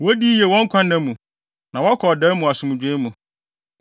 Wodi yiye wɔn nkwanna mu na wɔkɔ ɔdae mu asomdwoe mu.